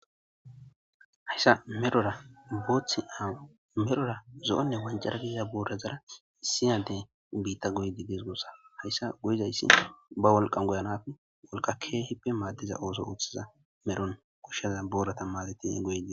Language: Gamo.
Haysa medhora zo'onne ancara godida boorara issi Addey goyidi de'es guusa haysi goyizay ba wolqan goyena baqa keehippe maades guusa daro goshaza booratan maadetidi goyidi dees guusa.